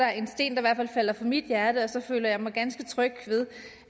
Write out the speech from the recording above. er en sten der falder fra mit hjerte så føler jeg mig ganske tryg ved